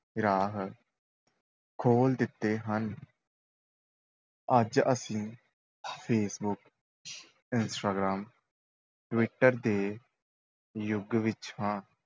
ਰਾਹ ਖੋਲ੍ਹ ਦਿੱਤੇ ਹਨ ਅੱਜ ਅਸੀਂ ਫੇਸਬੁੱਕ ਇੰਸਟਾਗ੍ਰਾਮ, ਟਵਿੱਟਰ ਦੇ ਯੁੱਗ ਵਿੱਚ ਹਾਂ।